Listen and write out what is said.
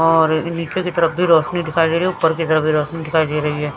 और नीचे की तरफ भी रोशनी दिखाई दे रही ऊपर की तरफ भी रोशनी दिखाई दे रही है।